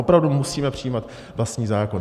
Opravdu musíme přijímat vlastní zákon?